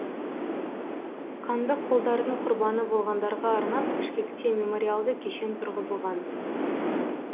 қандықолдардың құрбаны болғандарға арнап бішкекте мемориалды кешен тұрғызылған